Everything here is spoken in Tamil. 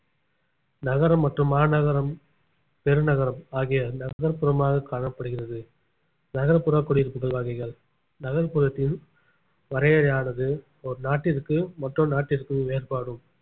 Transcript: நகரம் மற்றும் மாநகரம் பெருநகரம் ஆகிய நகர்ப்புறமாக காணப்படுகிறது நகர்ப்புற குடியிருப்புகள் வகைகள் நகர்ப்புறத்தில் வரையறையானது ஒரு நாட்டிற்கு மற்றொரு நாட்டிற்கும் வேறுபாடும்